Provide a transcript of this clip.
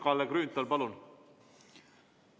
Kalle Grünthal, palun!